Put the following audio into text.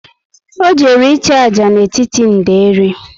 O jere i chu ájá n'etiti nderi